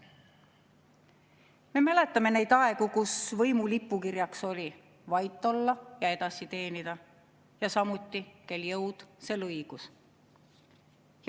Me mäletame neid aegu, kus võimu lipukirjaks oli "Vait olla ja edasi teenida", samuti "Kel jõud, sel õigus".